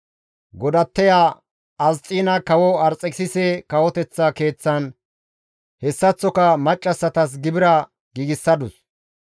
Godatteya Asxiina kawo Arxekisise kawoteththa keeththan hessaththoka maccassatas gibira giigsadus.